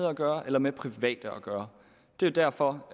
at gøre eller med private at gøre det er derfor